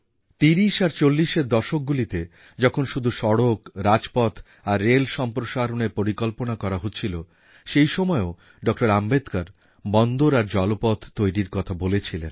১৯৩০ আর ১৯৪০এর দশকগুলিতে যখন শুধুসড়ক রাজপথ আর রেল সম্প্রসারণের পরিকল্পনা করা হচ্ছিল সেই সময়েও ডক্টর আম্বেদকর বন্দর আর জলপথ তৈরির কথা বলেছিলেন